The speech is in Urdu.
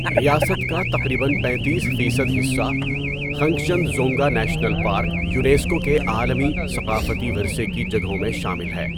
ریاست کا تقریباً پیتیس فیصد حصہ Khangchendzonga national park UNESCO کے عالمی ثقافتی ورثے کی جگہوں میں شامل ہے.